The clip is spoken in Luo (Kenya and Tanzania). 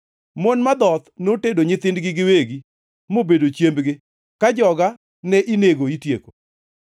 Mon madhoth notedo nyithindgi giwegi, mobedo chiembgi ka joga ne inego itieko.